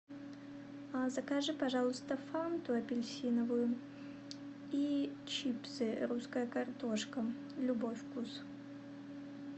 закажи пожалуйста фанту апельсиновую и чипсы русская картошка любой вкус